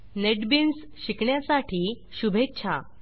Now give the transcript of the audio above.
NetBeans शिकण्यासाठी शुभेच्छा